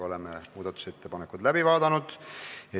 Oleme muudatusettepanekud läbi vaadanud.